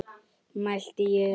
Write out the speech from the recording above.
mælti ég.